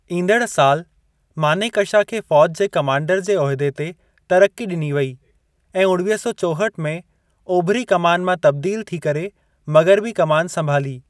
ईंदड़ साल, मानेकशा खे फौज जे कमांडर जे उहिदे ते तरक्की ॾिनी वई ऐं उणिवीह सौ चोहठि में ओभरी कमान मां तब्दील थी करे मग़रबी कमान संभाली।